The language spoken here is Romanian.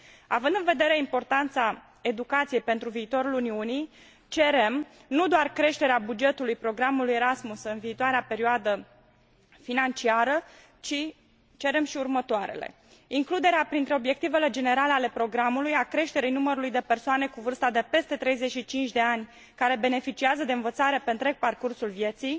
Având în vedere importanța educației pentru viitorul Uniunii, cerem nu doar creșterea bugetului programului Erasmus în viitoarea perioadă financiară, ci și următoarele includerea printre obiectivele generale ale programului a creșterii numărului de persoane cu vârsta de peste 35 de ani care beneficiază de învățare pe întreg parcursul vieții,